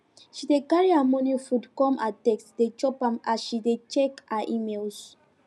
she dey carry her morning food come her desk dey chop am as she dey check her emails